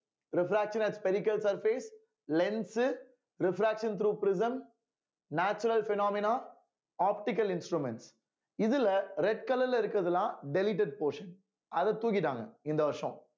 refraction has spherical surface lens refraction through prism natural phenomena optical instruments இதுல red color ல இருக்கிறதெல்லாம் deleted portion அத தூக்கிட்டாங்க இந்த வருஷம்